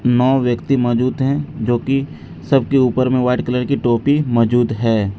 नौ व्यक्ति मौजूद हैं जो कि सब के ऊपर में वाइट कलर की टोपी मौजूद है।